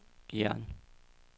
Gjern